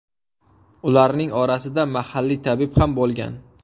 Ularning orasida mahalliy tabib ham bo‘lgan.